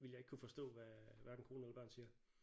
Ville jeg ikke kunne forstå hvad hverken kone eller børn siger